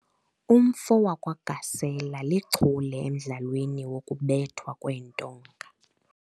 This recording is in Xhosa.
Umfo wakwaGasela lichule emdlalweni wokubethwa kweentonga.